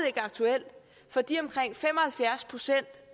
ikke aktuel for de omkring fem og halvfjerds procent